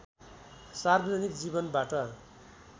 सार्वजनिक जीवनबाट